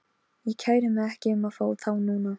Ég kæri mig ekki um að fá þá núna.